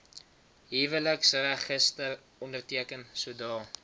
huweliksregister onderteken sodra